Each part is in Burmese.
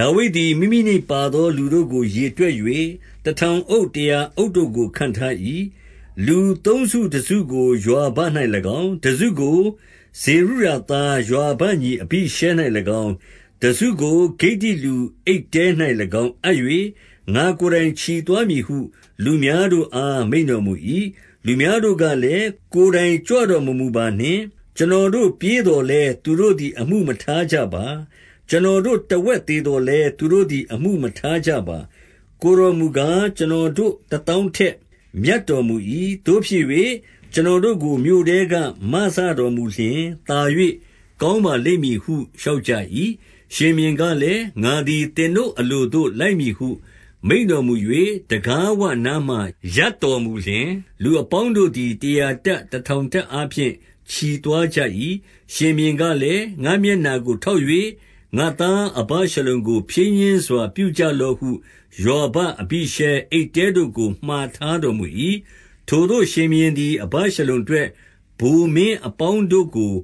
ဒါဝိဒ်သည် မိမိ၌ပါသော လူတို့ကိုရေတွက်၍ တထောင်အုပ်၊ တရာအုပ်တို့ကို ခန့်ထား၏။ 2 လူသုံးစုတစုကို ယွာဘ၌၎င်း၊ တစုကို ဇေရုယာ သား ယွာဘညီ အဘိရှဲ၌၎င်း၊ တစုကိုဂိတ္တိလူ အိတ္တဲ၌၎င်း အပ်၍၊ ငါ့ကိုယ်တိုင်ချီသွားမည်ဟု လူများတို့အား မိန့်တော် မူ၏။ 3 လူများတို့ကလည်း၊ ကိုယ်တိုင်ကြွတော်မမူပါနှင့်။ ကျွန်တော်တို့ပြေးသော်လည်း သူတို့သည်အမှုမထား ကြပါ။ ကျွန်တော်တို့ တဝက်သေသော်လည်း သူတို့သည်အမှုမထားကြပါ။ ကိုယ်တော်မူကား၊ ကျွန်တော်တို့ တသောင်းထက် မြတ်တော်မူ၏။ သို့ဖြစ်၍ ကျွန်တော် တို့ကို မြို့ထဲက မစတော်မူလျှင်သာ၍ ကောင်းပါလိမ့်မည် ဟု လျှောက်ကြ၏။ 4 ရှင်ဘုရင်ကလည်း၊ ငါသည်သင်တို့အလိုသို့ လိုက်မည်ဟု မိန့်တော်မူ၍ တံခါးဝနားမှာ ရပ်တော်မူ လျှင်၊ လူအပေါင်းတို့သည် တရာတပ်၊ တထောင်တပ်အား ဖြင့် ချီသွားကြ၏။ 5 ရှင်ဘုရင်ကလည်း၊ ငါ့မျက်နှာကို ထောက်၍ ငါ့သားအဗရှလုံကို ဖြည်းညှင်းစွာ ပြုကြလော့ဟု ယွာဘ၊ အဘိရှဲ၊ အိတ္တဲတို့ကို မှာထားတော်မူ၏။ ထိုသို့ ရှင်ဘုရင် သည် အဗရှလုံအတွက် ဗိုလ်မင်းအပေါင်းတို့ကို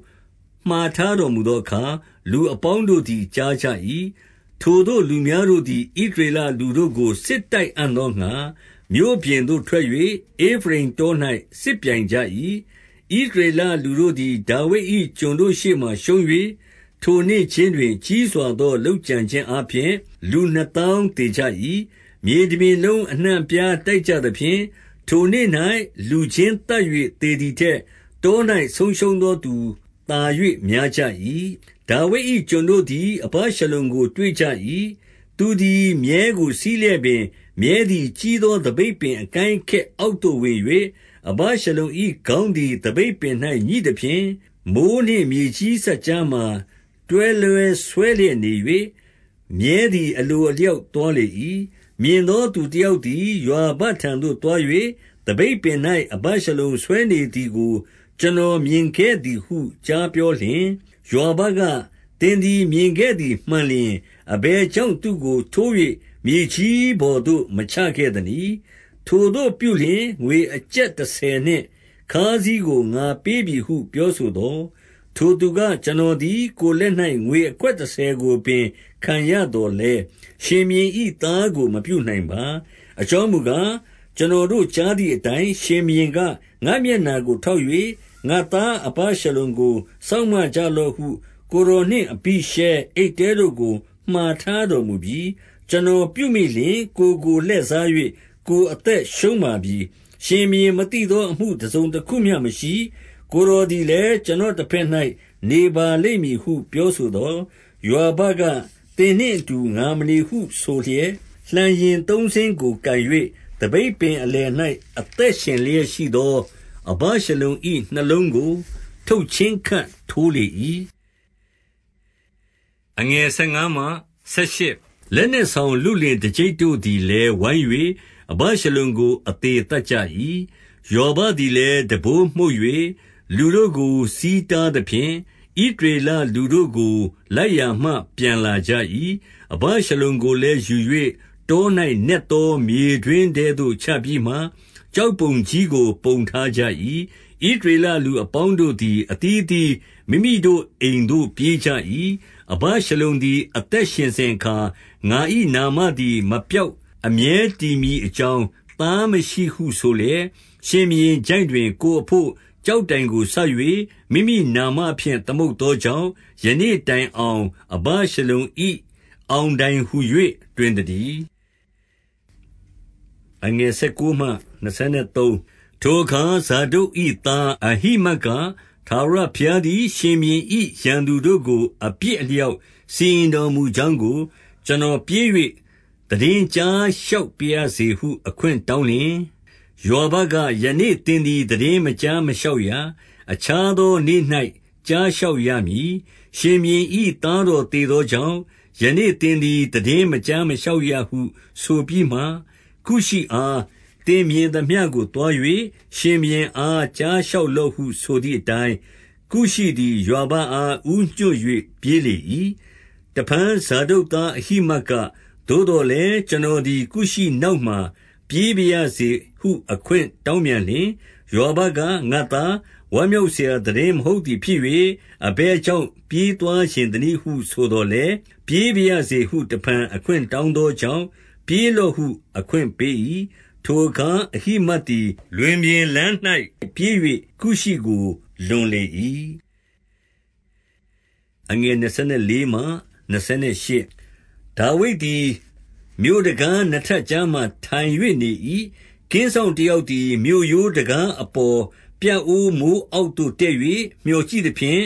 မှာထား တော်မူသောအခါ၊ လူအပေါင်းတို့သည် ကြားကြ၏။ 6 ထိုသို့ လူများတို့သည် ဣသရေလလူတို့ကို စစ်တိုက်အံ့သောငှါ မြို့ပြင်သို့ထွက်၍ ဧဖရိမ်တော၌ စစ်ပြိုင်ကြ၏။ 7 ဣသရေလလူတို့သည် ဒါဝိဒ်၏ကျွန်တို့ ရှေ့မှာ ရှုံး၍ ထိုနေ့ခြင်းတွင် ကြီးစွာသောလုပ်ကြံခြင်းအားဖြင့် လူနှစ်သောင်းသေကြ၏။ 8 မြေတပြင်လုံးအနှံ့အပြား တိုက်ကြသဖြင့် ထိုနေ့ ၌ လူချင်းသတ်၍ သေသည်ထက် တော၌ ဆုံးရှုံးသော သူသာ၍ များကြ၏။ 9 ဒါဝိဒ်၏ ကျွန်တို့သည် အဗရှလုံကိုတွေ့ကြ၏။ သူသည်မြည်းကို စီးလျက်ပင် မြည်းသည် ကြီးသော သပိတ်ပင်အကိုင်းအခက်အောက်သို့ဝင်၍၊ အဗရှလုံ၏ ခေါင်းသည်သပိတ်ပင်၌ ငြိသဖြင့်၊ မိုဃ်းနှင့်မြေကြီး စပ်ကြားမှာ တွဲလွဲဆွဲလျက်နေ၍၊ မြည်းသည် အလို အလျောက် သွားလေ၏။ 10 မြင်သော သူတယောက်သည် ယွာဘထံသို့ သွား၍၊ သပိတ်ပင်၌ အဗရှလုံဆွဲနေသည်ကို ကျွန်တော် မြင်ခဲ့သည်ဟု ကြားပြောလျှင်၊ 11 ယွာဘက၊ သင်သည် မြင်ခဲ့သည်မှန်လျှင် အဘယ်ကြောင့် သူ့ကို ထိုး၍ မြေကြီးပေါ်သို့ မချခဲ့ သနည်း။ ထိုသို့ပြုလျှင် ငွေကျပ်တဆယ်နှင့်ခါးစည်းကို ငါပေးပြီဟု ပြောဆိုသော်၊ 12 ထိုသူက ကျွန်တော်သည် ကိုယ်လက်၌ ငွေ အခွက်တဆယ်ကို ပင်ခံရသော်လည်း ရှင်ဘုရင်၏သားကို မပြုနိုင်ပါ။ အကြောင်းမူကား၊ ကျွန်တော်တို့ကြားသည့် အတိုင်း ရှင်ဘုရင်က၊ ငါ့မျက်နှာကိုထောက်၍ ငါ့သား အဗရှလုံကို စောင့်မကြလော့ဟု ကိုယ်တော်နှင့်အဘိရှဲ၊ အိတ္တဲတို့ကို မှာထားတော်မူပြီ။ 13 ကျွန်တော်ပြုမိလျှင် ကိုယ်ကိုလှည့်စား၍ ကိုယ် အသက်ရှုံးပါပြီ။ ရှင်ဘုရင်မသိသော အမှုတစုံတခုမျှမရှိ။ ကိုယ်တော်သည်လည်း ကျွန်တော်တဘက်၌ နေပါလိမ့် မည်ဟု ပြောဆိုသော်၊ 14 ယွာဘက၊ သင်နှင့်အတူ ငါမနေအားဟု ဆိုလျက်လှံယဉ်သုံးစင်း ကိုကိုင်ယူ၍ သပိတ်ပင်အလယ်၌ အသက်ရှင်လျက်ရှိသော အဗရှလုံ၏ နှလုံးကို ထုတ်ချင်း ခပ်ထိုးလေ၏။ 15 လက်နက်ဆောင်လုလင် တကျိပ်တို့သည်လည်း ဝိုင်း၍ အဗရှလုံကို အသေသတ်ကြ၏။ 16 ယွာဘသည်လည်း တံပိုးမှုတ်၍ လူတို့ကို ဆီး တားသဖြင့် ဣသရေလလူတို့ကို လိုက်ရာမှပြန်လာကြ၏။ 17 အဗရှလုံကိုလည်း ယူ၍ တော၌နက်သော မြေတွင်းထဲသို့ ချပြီးမှ ကျောက်ပုံကြီးကို ပုံထားကြ၏။ ဣသရေလလူအပေါင်းတို့သည် အသီးအသီး မိမိတို့ အိမ်သို့ပြေးကြ၏။ 18 အဗရှလုံသည် အသက်ရှင်စဉ်အခါ၊ ငါ၏နာမ သည် မပျောက်အမြဲတည်မည်အကြောင်း၊ သားမရှိဟု ဆိုလျက် ရှင်ဘုရင်ချိုင့်တွင် ကိုယ်အဘို့ ကျောက်တိုင်ကို စိုက်၍ မိမိနာမဖြင့်သမုတ်သောကြောင့်၊ ယနေ့တိုင် အောင် အဗရှလုံအောင်တိုင်ဟူ၍ တွင်သတည်း၊ 19 ထိုအခါ ဇာဒုတ်၏သား အဟိမတ်က၊ ထာဝရ ဘုရားသည် ရှင်ဘုရင်၏ ရန်သူတို့ကို အပြစ်အလျောက် စီရင်တော်မူကြောင်းကို ကျွန်တော်ပြေး၍ သိတင်း ကြားလျှောက်ပါရစေဟု အခွင့်တောင်းလျှင်၊ 20 ယွာဘက၊ ယနေ့သင်သည် သိတင်းမကြား မလျှောက်ရ။ အခြားသောနေ့၌ ကြားလျှောက်ရမည်။ ရှင်ဘုရင်၏ သားတော်သေသောကြောင့် ယနေ့သင်သည် သိတင်းမကြားမလျှောက်ရဟု ဆိုပြီးမှ၊ 21 ကုရှိအား သင်မြင်သမျှကိုသွား၍ ရှင်ဘုရင် အား ကြားလျှောက်လော့ဟုဆိုသည်အတိုင်း၊ ကုရှိသည် ယွာဘအား ဦးညွှတ်၍ ပြေးလေ၏။ 22 တဖန် ဇာဒုတ်သားအဟိမတ်က၊ သို့သော်လည်း ကျွန်တော်သည် ကုရှိနောက်မှာ ပြေးပါရစေဟု ခွင်း တောင်းပြန်လျှင်၊ ယွာဘက ငါ့သား ဝမ်းမြောက်စရာ သိတင်းမဟုတ်သည်ဖြစ်၍ အဘယ်ကြောင့်ပြေးသွားချင် သနည်းဟု ဆိုသော်လည်း၊ 23 ပြေးပါရစေဟု တဖန် အခွင့်တောင်းသောကြောင့် ပြေးလော့ဟုအခွင့်ပေး၏။ ထိုအခါ အဟိမတ်သည် လွင်ပြင်လမ်း၌ပြေး၍ ကုရှိကိုလွန်လေ၏။ 24 ဒါဝိဒ်သည် မြို့တံခါးနှစ်ထပ်ကြား မှာထိုင်၍နေ၏။ ကင်းစောင့်တယောက်သည် မြို့ရိုးတံခါးအပေါ် ပြအိုးမိုးအောက်သို့ တက်၍ မြော်ကြည့်သဖြင့်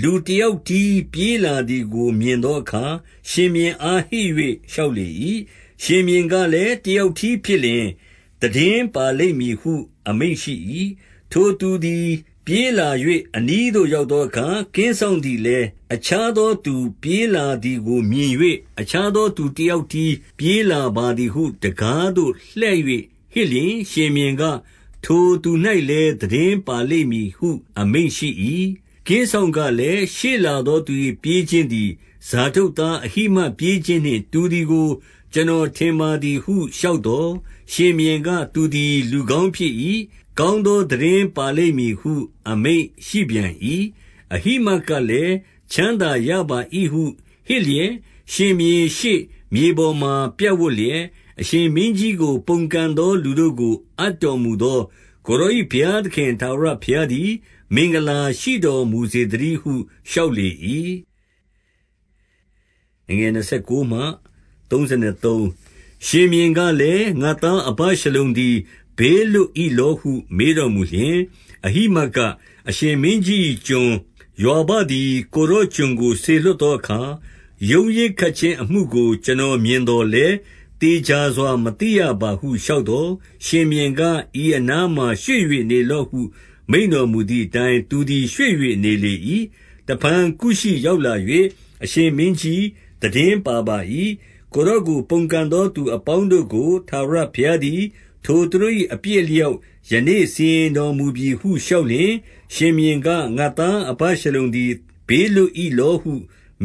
လူ တယောက်တည်းပြေးလာသည်ကို မြင်သောအခါ၊ 25 ရှင်ဘုရင်အား ဟစ်၍ လျှောက်လေ၏။ ရှင်ဘုရင်ကလည်း၊ တယောက်တည်းဖြစ်လျှင် သိတင်း ပါလိမ့်မည်ဟု အမိန့်ရှိ၏။ ထိုသူသည် ပြေးလာ၍ အနီးသို့ ရောက်သောအခါ၊ 26 ကင်းစောင့်သည်လည်း အခြားသော သူပြေးလာသည်ကိုမြင်၍၊ အခြားသောသူတယောက်တည်း ပြေးလာပါသည်ဟု တံခါးသို့လှည့်၍ ဟစ်လျှင်၊ ရှင်ဘုရင်က ထိုသူ၌လည်း သိတင်းပါလိမ့်မည်ဟု အမိန့်ရှိ၏။ 27 ကင်စောင့်ကလည်း၊ ရှေ့လာသော သူ၏ပြေးခြင်းသည် ဇာဒုတ်သား အဟိမတ်ပြေးခြင်းနှင့် တူသည် ကို ကျွန်တော်ထင်ပါသည်ဟု လျှောက်သော်၊ ရှင်ဘုရင်က သူသည် လူကောင်းဖြစ်၏။ ကောင်းသော သိတင်းပါလိမ့် မည်ဟု အမိန့်ရှိပြန်၏။ 28 အဟိမတ်ကလည်း၊ ချမ်းသာရပါ၏ဟုဟစ်လျက် ရှင်ဘုရင်ရှေ့မြေပေါ်မှာ ပြပ်ဝပ်လျက်၊ အရှင်မင်းကြီး ကို ပုန်ကန်သောလူတို့ကို အပ်တော်မူသောကိုယ်တော်၏ဘုရားသခင် ထာဝရဘုရားသည် မင်္ဂလာ ရှိတော်မူစေသတည်းဟု လျှောက်လေ၏။ 29 ရှင်ဘုရင်ကလည်း၊ ငါ့သား အဗရှလုံသည် ဘေးလွတ်၏လောဟု မေးတော်မူလျှင် အဟိမတ်က၊ အရှင်မင်းကြီး၏ ကျွန်ယွာဘသည် ကိုယ်တော်ကျွန် ကိုစေလွှတ်သောအခါ ရုန်းရင်းခတ်ခြင်းအမှုကို ကျွန် တော်မြင်သော်လည်း သေချာစွာမသိရပါဟု လျှောက် သော်၊ 30 ရှင်ဘုရင်က၊ ဤအနားမှာ ရွှေ့၍နေလော့ဟု မိန့်တော်မူသည်အတိုင်း သူသည်ရွှေ့၍ နေလေ၏။ 31 တဖန် ကုရှိရောက်လာ၍ အရှင်မင်းကြီး၊ သိတင်းပါပါ၏။ ကိုယ်တော်ကို ပုန်ကန်သော သူအပေါင်း တို့ကို ထာဝရဘုရားသည် ထိုသူ၏ အပြစ်အလျောက် ယနေ့စီရင်တော်မူပြီဟု လျှောက်လျှင်၊ 32 ရှင်ဘုရင်က၊ ငါ့သားအဗရှလုံသည် ဘေးလွတ် ၏လောဟု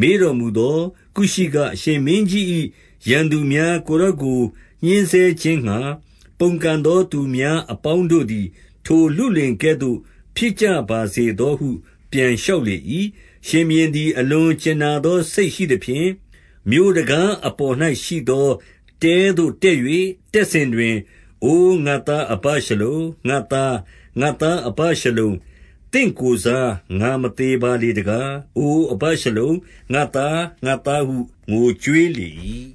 မေးတော်မူသော်၊ ကုရှိက အရှင်မင်းကြီး၏ ရန်သူများ၊ ကိုယ်တော်ကို ညှဉ်းဆဲခြင်းငှါ ပုန်ကန်သောသူများအပေါင်းတို့သည် ထိုလုလင်ကဲ့သို့ဖြစ်ကြပါ စေသောဟု ပြန်လျှောက်လေ၏။ 33 ရှင်ဘုရင်သည် အလွန်ကြင်နာသောစိတ် ရှိသဖြင့် မြို့တံခါးအပေါ်၌ရှိသော တဲသို့တက်၍ တက်စဉ် တွင်၊ အိုငါ့သားအဗရှလုံ၊ ငါ့သား၊ ငါ့သားအဗရှလုံ၊ သင့်ကိုယ်စား ငါမသေပါလေတကား။ အိုအဗရှလုံ၊ ငါ့သား၊ ငါ့သားဟု ငိုကြွေးလေ